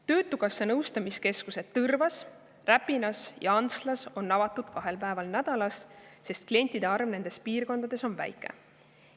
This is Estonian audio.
Töötukassa nõustamiskeskused Tõrvas, Räpinas ja Antslas on avatud kahel päeval nädalas, sest klientide arv nendes piirkondades on väike.